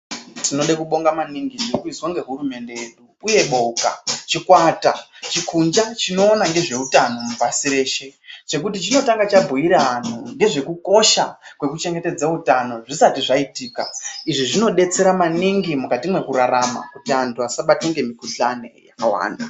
Tinode kubonga maningi zvirikuizwe nehurumende yedu uyeboka, chikwata, kunja chinoona nezveutano pasi reshe chekuti chinotanga chabhuira vantu nezvekukosha kwekuchengetedza utano azvisati zvaitika , izvi zvinodetsera maningi mukati mwekurarama kuti antu asaibatwe ngemikhuhlani yakawanda.